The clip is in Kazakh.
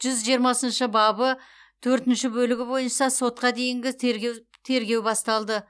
жүз жиырмасыншы бабы төртінші бөлігі бойынша сотқа дейінгі тергеу басталды